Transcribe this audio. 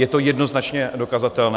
Je to jednoznačně dokazatelné.